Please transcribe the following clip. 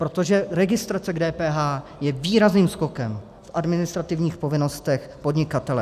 Protože registrace k DPH je výrazným skokem v administrativních povinnostech podnikatele.